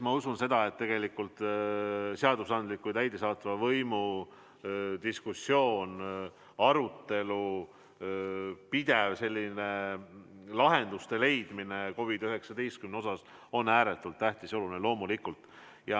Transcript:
Ma usun, et tegelikult on seadusandliku ja täidesaatva võimu diskussioon, arutelu, pidev lahenduste leidmine COVID-19 olukorras ääretult tähtis ja oluline, loomulikult.